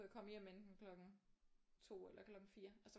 Jeg komme hjem enten klokken 2 eller klokken 4 altså